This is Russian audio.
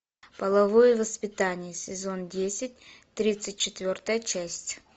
половое воспитание сезон десять тридцать четвертая часть